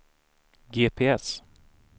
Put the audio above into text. GPS